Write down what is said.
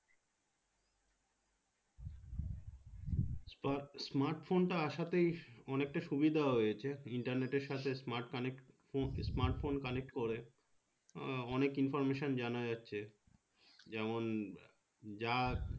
smart phone টা আসতে অনেকটা সুবিধা হয়েছে internet এর সাথে smart connect phone smart phone connect করে আহ অনেক information জানা যাচ্ছে যেমন যা